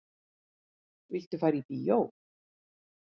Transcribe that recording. Viltu fara í bíó?